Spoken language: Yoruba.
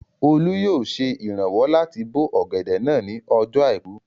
Olú yóò ṣe ìrànwọ́ láti bó ọ̀gẹ̀dẹ̀ náà ní ọjọ́ àìkú